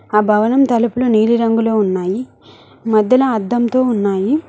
ఆ భవనం తలుపులు నీలి రంగులో ఉన్నాయి మధ్యలో అద్దంతో ఉన్నాయి.